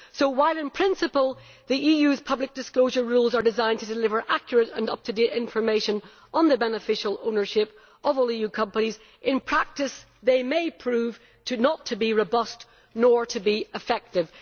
So while in principle the EU's public disclosure rules are designed to deliver accurate and up to date information on the beneficial ownership of all EU companies, in practice they may prove not to be robust or effective.